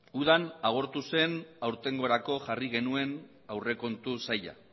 udan agortu zen aurtengorako jarri genuen aurrekontu saila